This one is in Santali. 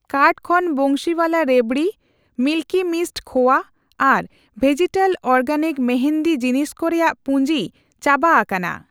ᱠᱟᱨᱴ ᱠᱷᱚᱱ ᱵᱟᱸᱥᱤᱣᱟᱞᱟ ᱨᱮᱵᱷᱫᱤ, ᱢᱤᱞᱠᱤ ᱢᱤᱥᱴ ᱠᱷᱳᱣᱟ ᱟᱨ ᱵᱷᱮᱡᱤᱴᱟᱞ ᱚᱨᱜᱮᱱᱤᱠ ᱢᱮᱦᱮᱫᱤ ᱡᱤᱱᱤᱥ ᱠᱚ ᱨᱮᱭᱟᱜ ᱯᱩᱸᱡᱤ ᱪᱟᱵᱟ ᱟᱠᱟᱱᱟ ᱾